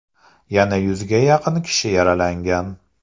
Yana yuzga yaqin kishi yaralangan.